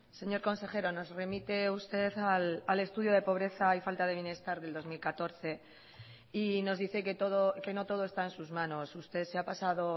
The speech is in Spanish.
señor consejero nos remite usted al estudio de pobreza y falta de bienestar del dos mil catorce y nos dice que no todo está en sus manos usted se ha pasado